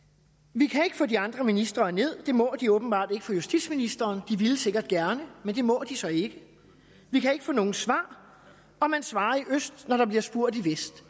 vi kan ikke få de andre ministre herned det må de åbenbart ikke for justitsministeren de ville sikkert gerne men det må de så ikke vi kan ikke få nogen svar og man svarer i øst når der bliver spurgt i vest